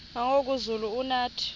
nangoku zulu uauthi